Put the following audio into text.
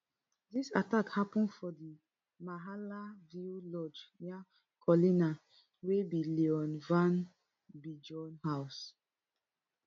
dis attack happun for di mahala view lodge near cullinan wey be leon van biljon house